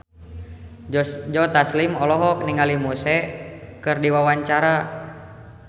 Joe Taslim olohok ningali Muse keur diwawancara